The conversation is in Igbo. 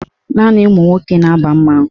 Naanị ụmụnwoke na-aba mmanwụ.